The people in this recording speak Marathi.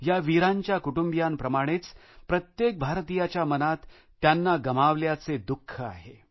या वीरांच्या कुटुंबियांप्रमाणेच प्रत्येक भारतीयाच्या मनात त्यांना गमावल्याचे दुःख आहे